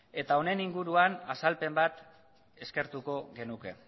eta honen inguruan azalpen bat eskertuko genuke